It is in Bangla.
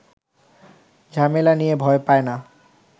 ঝামেলা নিয়ে ভয় পায় না